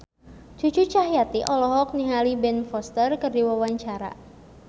Cucu Cahyati olohok ningali Ben Foster keur diwawancara